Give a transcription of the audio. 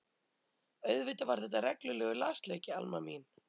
Auðvitað var þetta reglulegur lasleiki Alma mín.